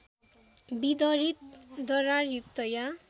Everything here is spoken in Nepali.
विदरित दरारयुक्त या